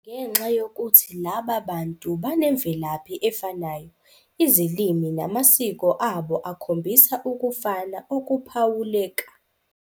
Ngenxa yokuthi laba bantu banemvelaphi efanayo, izilimi namasiko abo akhombisa ukufana okuphawuleka.